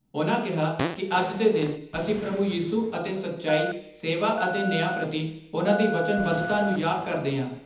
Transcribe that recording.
ਉਨ੍ਹਾਂ ਕਿਹਾ ਕਿ ਅੱਜ ਦੇ ਦਿਨ ਅਸੀਂ ਪ੍ਰਭੂ ਯੀਸੂ ਅੇਤ ਸੱਚਾਈ, ਸੇਵਾ ਅਤੇ ਨਿਆਂ ਪ੍ਰਤੀ ਉਨ੍ਹਾਂ ਦੀ ਵਧਨਬੱਧਤਾ ਨੂੰ ਯਾਦ ਕਰਦੇ ਆਂ।